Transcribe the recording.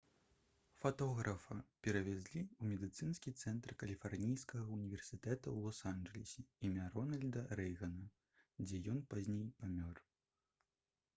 фатографа перавезлі ў медыцынскі цэнтр каліфарнійскага ўніверсітэта ў лос-анджэлесе імя рональда рэйгана дзе ён пазней памёр